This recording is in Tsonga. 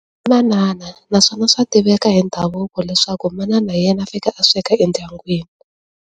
Manana naswona swa tiveka hi ndhavuko leswaku manana hi yena a fanekele a sweka endyangwini.